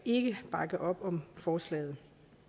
bakke op om forslaget